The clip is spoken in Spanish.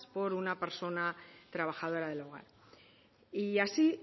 por una persona trabajadora del hogar y así